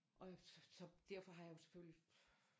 Og jeg så derfor har jeg jo selvfølgelig